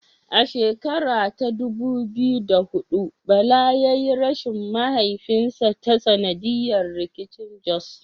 A shekara ta dubu biyu da huɗu Bala yayi rashin mahaifinsa ta sanadiyar rikicin Jos.